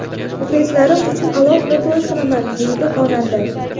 Muxlislarim uchun alohida to‘y qilaman”, deydi xonanda.